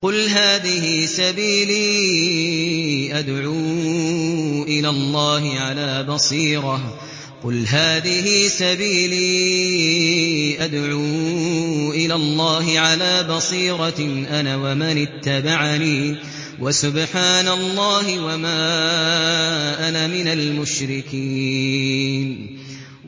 قُلْ هَٰذِهِ سَبِيلِي أَدْعُو إِلَى اللَّهِ ۚ عَلَىٰ بَصِيرَةٍ أَنَا وَمَنِ اتَّبَعَنِي ۖ وَسُبْحَانَ اللَّهِ وَمَا أَنَا مِنَ الْمُشْرِكِينَ